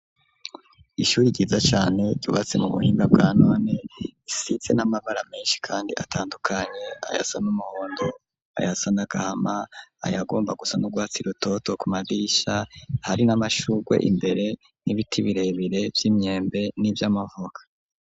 Ishyuri ryiza cane ryubatse mu buhinda bwa none risize n'amabara meshi kandi atandukanye ayasa n'umuhondo ayasa n'agahama ayagomba gusa n'urwats rutoto ku madisha hari n'amashurwe imbere n'ibiti birebire vy'imyembe n'ivyamavuka.